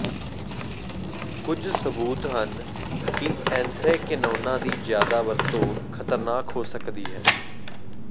ਕੁਝ ਸਬੂਤ ਹਨ ਕਿ ਐਂਥ੍ਰੈਕਿਨੋਨਾਂ ਦੀ ਜ਼ਿਆਦਾ ਵਰਤੋਂ ਖਤਰਨਾਕ ਹੋ ਸਕਦੀ ਹੈ